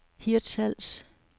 Hirtshals